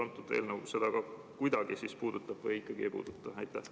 Kas eelnõu seda kuidagi puudutab või ikkagi ei puuduta?